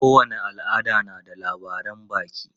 Kowane al'ada na da labaran baki.